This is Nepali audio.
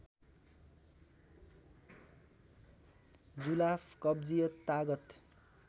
जुलाफ कब्जियत तागत